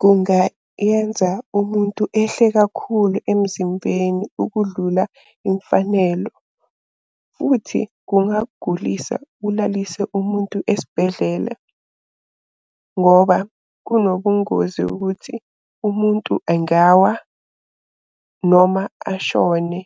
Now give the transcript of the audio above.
Kungayenza umuntu ehle kakhulu emzimbeni ukudlula imfanelo, futhi kungagulisa kulalise umuntu esibhedlele ngoba kunobungozi ukuthi umuntu engawa noma ashone.